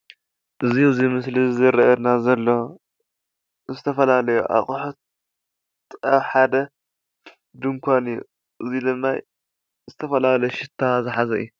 እዙይ ኣብ ምስሊ ዝረኣየና ዘሎ ዝተፈላለየ ኣቑሑት ኣብ ሓደ ድንኳን እዩ። እዙይ ድማ ዝተፈላለዩ ሽታ ዝሓዘ እዩ ።